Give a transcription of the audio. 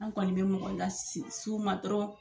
An kɔni bɛ mɔgɔ la las'u ma dɔrɔn.